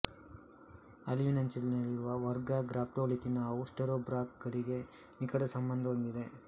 ಅಳಿವಿನಂಚಿನಲ್ಲಿರುವ ವರ್ಗ ಗ್ರ್ಯಾಪ್ಟೋಲಿಥಿನಾವು ಸ್ಟೆರೋಬ್ರಾಂಕ್ ಗಳಿಗೆ ನಿಕಟ ಸಂಬಂಧ ಹೊಂದಿದೆ